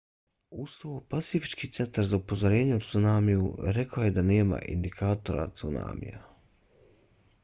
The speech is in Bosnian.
uz to pacifički centar za upozorenja o cunamiju rekao je da nema indikatora cunamija